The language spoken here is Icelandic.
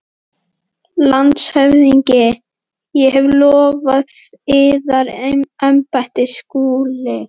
LANDSHÖFÐINGI: Ég hef lofað yður embætti, Skúli.